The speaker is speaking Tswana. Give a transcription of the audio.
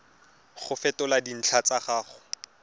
go fetola dintlha tsa gago